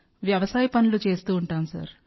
వ్యవసాయ పనులు చేస్తాం సార్